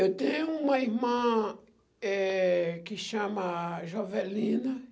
Eu tenho uma irmã, eh, que chama Jovelina